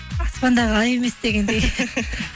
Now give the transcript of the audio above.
аспандағы ай емес дегендей